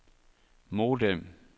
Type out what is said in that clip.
modem